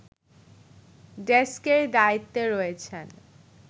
ডেস্কের দায়িত্বে রয়েছেন